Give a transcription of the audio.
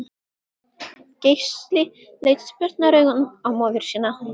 Gísli leit spurnaraugum á móður sína.